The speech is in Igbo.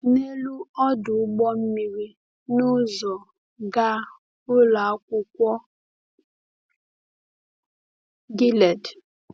N’elu ọdụ ụgbọ mmiri n’ụzọ gaa Ụlọ Akwụkwọ Gilead.